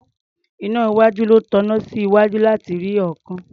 Iná iwájú ló taná sí iwájú láti rí ọ̀ọ́kán.